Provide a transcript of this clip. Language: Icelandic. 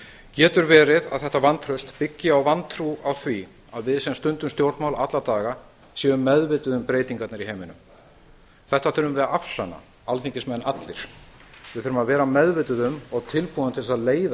getur verið að þetta vantraust byggi á vantrú á því að við sem stundum stjórnmál alla daga séum meðvituð um breytingarnar í heiminum þetta þurfum við að afsanna alþingismenn allir við þurfum að vera meðvituð um og tilbúin til þess að leiða